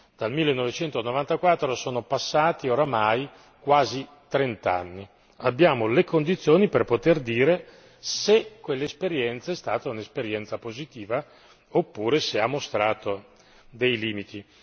Dal 1994 sono passati, oramai, quasi vent'anni, abbiamo le condizioni per poter dire se quell'esperienza è stata un'esperienza positiva oppure se ha mostrato dei limiti.